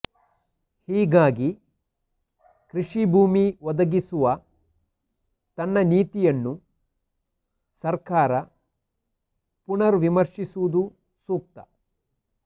ಹೀಗಾಗಿ ಕೃಷಿ ಭೂಮಿ ಒದಗಿಸುವ ತನ್ನ ನೀತಿಯನ್ನು ಸರ್ಕಾರ ಪುನರ್ ವಿಮರ್ಶಿಸುವುದು ಸೂಕ್ತ